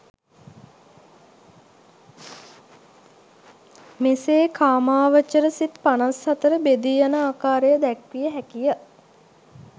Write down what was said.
මෙසේ කාමාවචර සිත් 54 බෙදී යන ආකාරය දැක්විය හැකි ය.